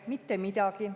Mitte midagi.